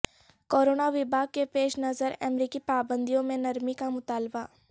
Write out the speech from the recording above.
corona وبا کے پیش نظر امریکی پابندیوں میں نرمی کا مطالبہ